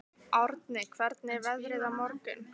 Árni, hvernig er veðrið á morgun?